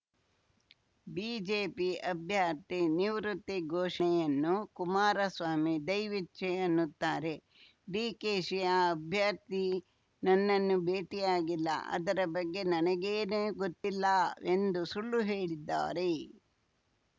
BJP ಅಭ್ಯರ್ಥಿ ನಿವೃತ್ತಿ ಘೋಷಣೆಯನ್ನು ಕುಮಾರಸ್ವಾಮಿ ದೈವೇಚ್ಛೆ ಅನ್ನುತ್ತಾರೆ ಡಿಕೆಶಿ ಆ ಅಭ್ಯರ್ಥಿ ನನ್ನನ್ನು ಭೇಟಿಯಾಗಿಲ್ಲ ಅದರ ಬಗ್ಗೆ ನನಗೇನು ಗೊತ್ತಿಲ್ಲ ಸುಳ್ಳು ಹೇಳಿದ್ದಾರೆ